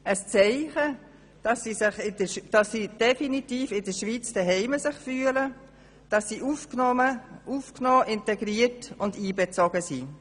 Es ist ein Zeichen, dass sie sich definitiv in der Schweiz zu Hause fühlen und aufgenommen, integriert und einbezogen sind.